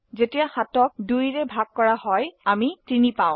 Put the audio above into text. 7 2 দ্বাৰা ভাগ কৰলে আমৰা 3 পাই